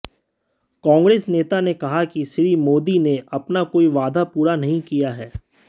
कांग्रेस नेता ने कहा कि श्री मोदी ने अपना कोई वादा पूरा नहीं किया है